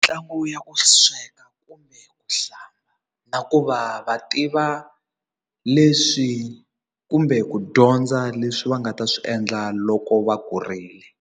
Ntlangu ya ku sweka kumbe ku hlamba na ku va va tiva leswi kumbe ku dyondza leswi va nga ta swi endla loko va kurile.